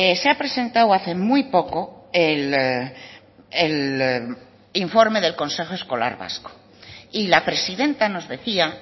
se ha presentado hace muy poco el informe del consejo escolar vasco y la presidenta nos decía